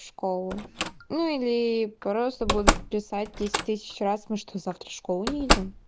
школу ну или просто буду писать десять тысяч раз мы что завтра в школу не идём